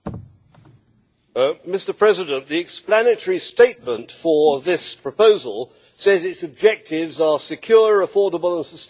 Mr President, the explanatory statement for this proposal says its objectives are secure, affordable and sustainable energy.